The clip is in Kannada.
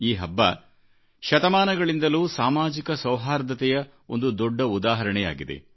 ಈ ಹಬ್ಬ ಶತಮಾನಗಳಿಂದಲೂ ಸಾಮಾಜಿಕ ಸೌಹಾರ್ದತೆಯ ಒಂದು ದೊಡ್ಡ ಉದಾಹರಣೆಯಾಗಿದೆ